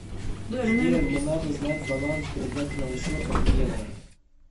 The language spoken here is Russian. сбер мне надо знать баланс сберегательного счета в евро